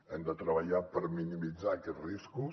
hem de treballar per minimitzar aquests riscos